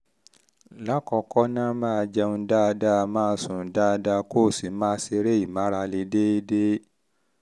lákọ̀ọ́kọ́ ná máa jẹun dáadáa máa sùn dáadáa kó o sì máa ṣeré ìmárale déédé déédé